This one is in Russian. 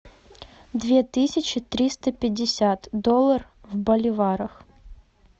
две тысячи триста пятьдесят доллар в боливарах